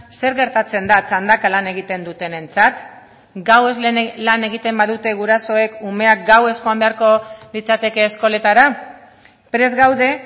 zer gertatzen da txandaka lan egiten dutenentzat gauez lan egiten badute gurasoek umeak gauez joan beharko litzateke eskoletara prest gaude